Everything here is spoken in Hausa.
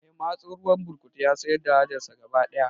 Mai matso ruwan burkutun ya sayar da hajar sa gaba daya